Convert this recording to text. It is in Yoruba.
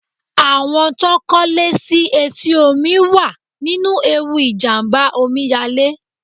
Àwọn tó kọ́ lé sí etí omi wà nínú ewu ìjàmbá Omi yalé.